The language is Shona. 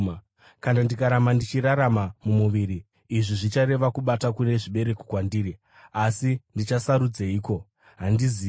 Kana ndikaramba ndichirarama mumuviri, izvi zvichareva kubata kune zvibereko kwandiri. Asi ndichasarudzeiko? Handizivi!